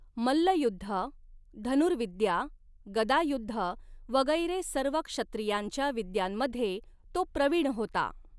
मल्लयुद्ध, धनुर्विद्या, गदायुद्ध वगैरे सर्व क्षत्रियांच्या विद्यांमधे तो प्रवीण होता.